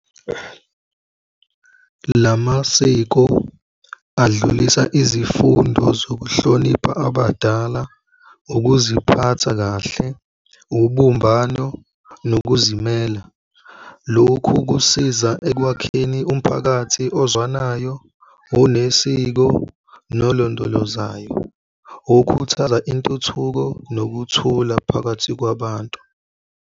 Lamasiko adlulisa izifundo zokuhlonipha abadala, ukuziphatha kahle, ubumbano nokuzimela. Lokhu kusiza ekwakheni umphakathi ozwanayo, onesiko nolondoloza, okhuthaza intuthuko nokuthula phakathi kwabantu.